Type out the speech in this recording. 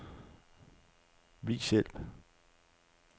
Vis hjælp.